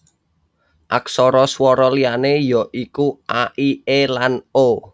Aksara swara liyané ya iku a i é lan o